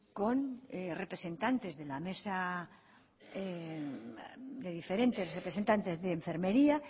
con representantes de la mesa de diferentes representantes de enfermería